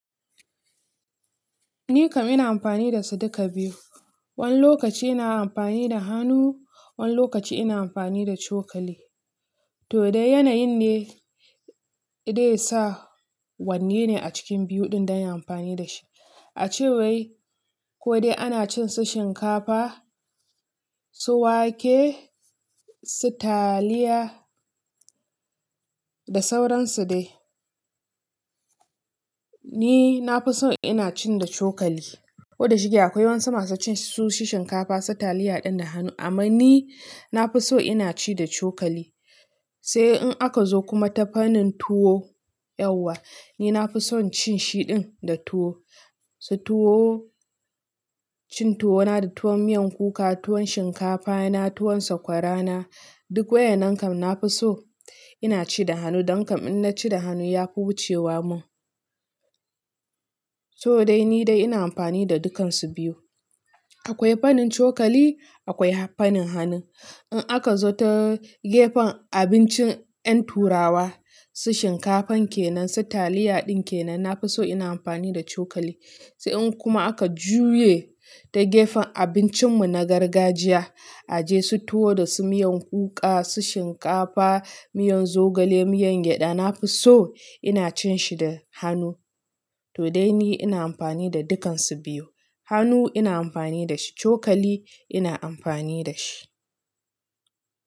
Ni kam ina amfani da su duka biyu. Wani lokaci ina amfani da hannu, wani lokaci ina amfani da cokali. To dai yanayin ne, dai sa wanne ne a cikin biyu ɗin don in amfani da shi. A cewai, ko dai ana cin su shinkafa, su wake, su taliya da sauransu dai. Ni na fi so ina cin da cokali, koda shike akwai wasu masu cin su shinkafa, su taliya din da hannu. Amma ni na fi so ina ci da cokali. Sai in aka zo kuma ta fannin tuwo yauwa, ni na fi son cin shi ɗin da tuwo. Su tuwo, cin tuwo na da tuwon miyan kuka, tuwon shinkafa na, tuwon sakwara na, duk waƴannan kam na fi so ina ci da hannu. Don kam in na ci da hannu ya fi wucewa mun. To dai ni dai ina amfani da dukansu biyu. Akwai fannin cokali, akwai fannin hannu. In aka zo ta gefen abincin ƴan turawa, su shinkafan kenan su taliya ɗin kenan, nafi so ina amfani da cokali sai in kuma aka juye ta gefen abincin mu na gargajiya, a je su tuwo da su miyan kuka, su shinkafa, miyan zogale, miyan gyaɗa, na fi so ina cin shi da hannu. To dai ni ina amfani da dukansu biyu. Hannu ina amfani da shi, cokali ina amfani da shi.